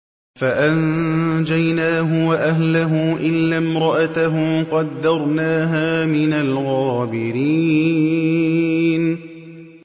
فَأَنجَيْنَاهُ وَأَهْلَهُ إِلَّا امْرَأَتَهُ قَدَّرْنَاهَا مِنَ الْغَابِرِينَ